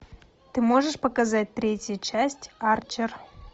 ты можешь показать третью часть арчер